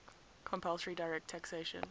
compulsory direct taxation